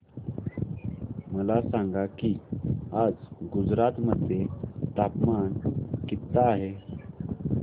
मला सांगा की आज गुजरात मध्ये तापमान किता आहे